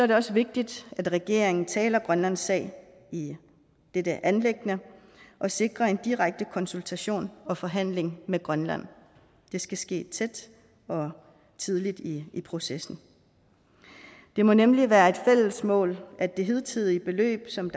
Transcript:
det også vigtigt at regeringen taler grønlands sag i dette anliggende og sikrer en direkte konsultation og forhandling med grønland det skal ske tæt og tidligt i processen det må nemlig være et fælles mål at det hidtidige beløb som